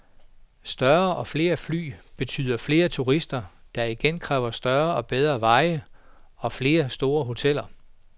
Større og flere fly betyder flere turister, der igen kræver større og bedre veje og flere store hoteller.